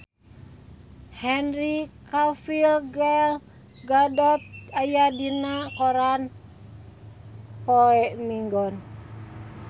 Henry Cavill Gal Gadot aya dina koran poe Minggon